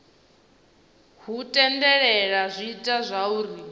hu tendelela zwi ita zwauri